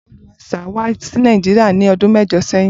Budweiser wa si Naijiria ni ọdun mẹjọ sẹyin.